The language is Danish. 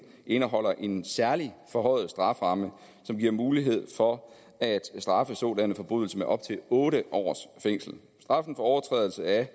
indeholder en særlig forhøjet strafferamme som giver mulighed for at straffe sådanne forbrydelser med op til otte års fængsel straffen for overtrædelse af